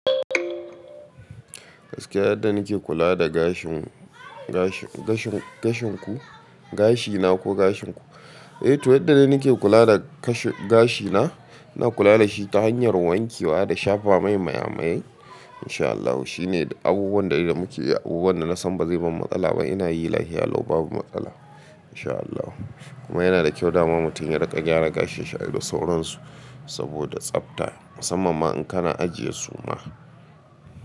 Gaskiya yadda nake kula da gashin, gashin, gashin, gashin ku, gashina ko gashin ku? Eh to yadda dai nake kula da kashe, gashina, ina kula da shi ta hanyar wanke wa da shafa mai maye-maye in sha Allahu. Shi ne abubuwan dai da muke yi, abubuwan da na san ba zai ban matsala ba. Ina yi lahiya lau babu matsala in sha Allahu. Kuma yana da kyau dama mutum ya riƙa gyara gashinshi ai da sauran su saboda tsabta musamman ma in kana ajiye su ma.